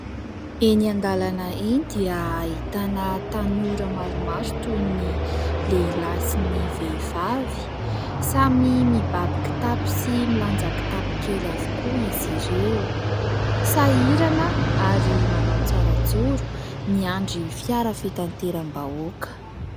Eny an-dalana eny dia ahitana tanora maromaro toy ny lehilahy sy ny vehivavy. Samy mibaby kitapo sy milanja kitapo kely avokoa izy ireo, sahirana ary manao tsara joro miandry fiara fitateram-bahoaka.